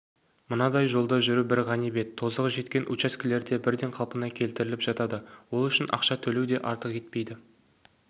мынадай жолда жүру бір ғанибет тозығы жеткен учаскелерді бірден қалпына келтіріп жатады ол үшін ақша төлеу де артық етпейді